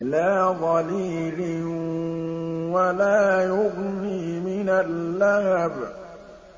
لَّا ظَلِيلٍ وَلَا يُغْنِي مِنَ اللَّهَبِ